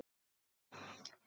Þeir játuðu því.